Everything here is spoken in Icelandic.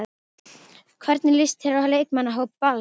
Hvernig líst þér á leikmannahóp Vals?